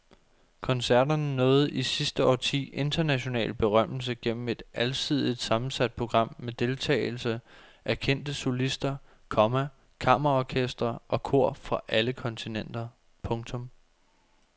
Koncerterne nåede i sidste årti international berømmelse gennem et alsidigt sammensat program med deltagelse af kendte solister, komma kammerorkestre og kor fra alle kontinenter. punktum